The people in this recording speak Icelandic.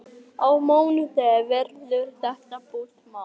Á mánudaginn verður þetta búið mál.